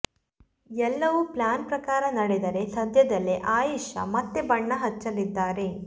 ಎಲ್ಲವೂ ಪ್ಲಾನ್ ಪ್ರಕಾರ ನಡೆದರೆ ಸದ್ಯದಲ್ಲೇ ಆಯೆಷಾ ಮತ್ತೆ ಬಣ್ಣ ಹಚ್ಚಲಿದ್ದಾರೆ